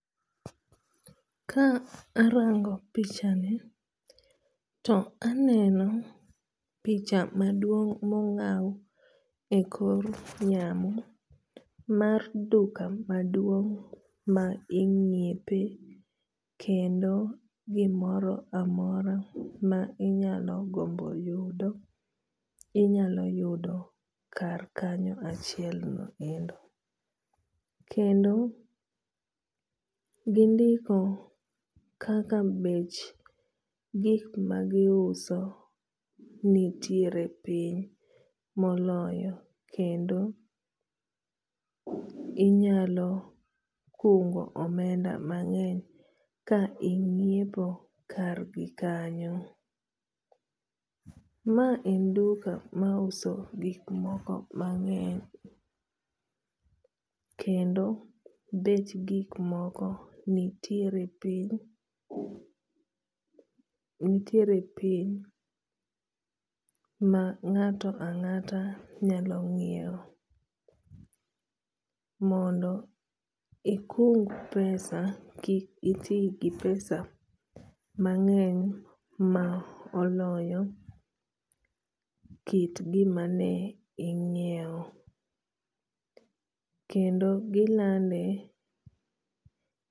Ka arango picha ni, to aneno picha maduong' mong'aw ekor yamo mar duka maduong' mar ing'iepe kendo gimoro amora ma inyalo gombo yudo inyalo yudo kar kanyo achiel no endo. Kendo gindiko kaka bech gik magiuso nitiere piny moloyo kendo inyalo kungo omenda mang'eny ka ing'iepo kargi kanyo. Ma en duka mauso gik moko mang'eny kendo bech gik moko nitiere piny nitiere piny ma ng'ato ang'ata nyalo nyiewo mondo ikung pesa kikiti gi pesa mang'eny ma oloyo kit gima ing'iewo. Kendo gilande